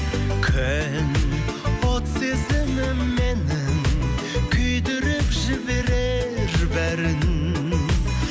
күн от сезімім менің күйдіріп жіберер бәрін